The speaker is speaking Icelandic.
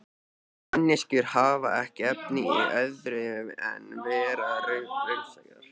Manneskjur hafa ekki efni á öðru en vera raunsæjar.